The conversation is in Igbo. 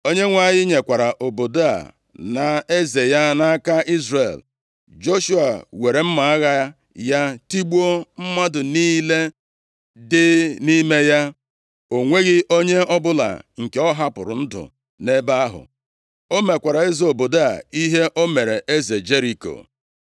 Onyenwe anyị nyekwara obodo a na eze ya nʼaka Izrel. Joshua weere mma agha ya tigbuo mmadụ niile dị nʼime ya. O nweghị onye ọbụla nke ọ hapụrụ ndụ nʼebe ahụ. O mekwara eze obodo a ihe o mere eze Jeriko.